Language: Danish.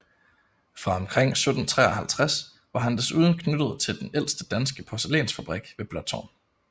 Fra omkring 1753 var han desuden knyttet til den ældste danske porcelænsfabrik ved Blåtårn